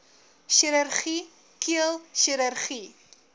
chirurgie keel chirurgie